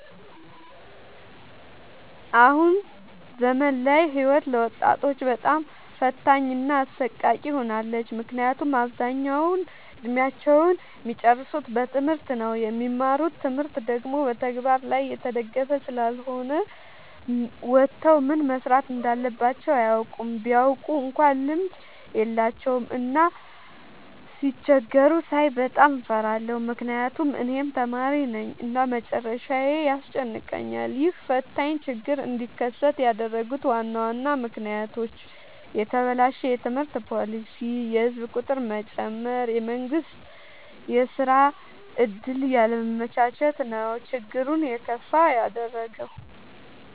አሁን ዘመን ላይ ህይወት ለወጣቶች በጣም ፈታኝ እና አሰቃቂ ሆናለች። ምክንያቱም አብዛኛውን እድሜአቸውን እሚጨርሱት በትምህርት ነው። የሚማሩት ትምህርት ደግሞ በተግበር ላይ የተደገፈ ስላልሆነ ወተው ምን መስራት እንዳለባቸው አያውቁም። ቢያውቁ እንኳን ልምድ የላቸውም። እና ሲቸገሩ ሳይ በጣም እፈራለሁ ምክንያቱም እኔም ተማሪነኝ እና መጨረሻዬ ያስጨንቀኛል። ይህ ፈታኝ ችግር እንዲከሰት ያደረጉት ዋና ዋና ምክንያቶች፦ የተበላሸ የትምህርት ፓሊሲ፣ የህዝብ ቁጥር መጨመር፣ የመንግስት የስራ ዕድል ያለማመቻቸት ነው። ችግሩን የከፋ ያደረገው።